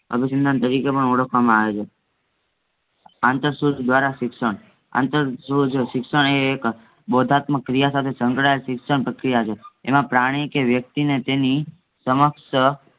અભિસંતાન ઓળખવામાં આવે છે. સિક્ષણ અંતરજોર સિક્ષણ એ એક બોડધમક ક્રિયા સાથે સઙ્ક્દ્યેલ પ્રક્રિયા છે એમાં પ્રાણી કે વ્યેકતી ને તેની સમક્ષ